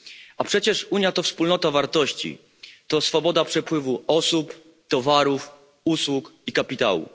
A przecież Unia to wspólnota wartości, to swoboda przepływu osób, towarów, usług i kapitału.